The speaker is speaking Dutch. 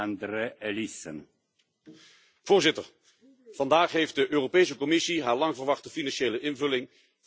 Voorzitter, vandaag heeft de Europese Commissie haar lang verwachte financiële invulling van de nieuwe meerjarenbegroting gepresenteerd.